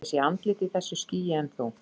Ég sé andlit í þessu skýi, en þú?